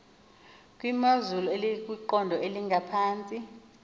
kwimozulu ekwiqondo elingaphantsi